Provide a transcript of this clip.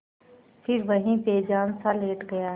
फिर वहीं बेजानसा लेट गया